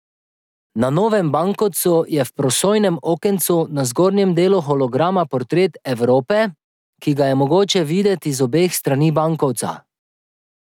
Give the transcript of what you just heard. Na novem bankovcu je v prosojnem okencu na zgornjem delu holograma portret Evrope, ki ga je mogoče videti z obeh strani bankovca.